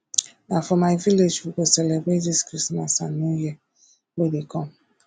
na for my village we go celebrate dis christmas and new year wey dey come